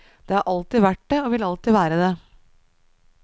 Det har alltid vært det og vil alltid være det.